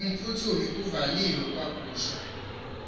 umphuthumi kuvaliwe kwakhuswa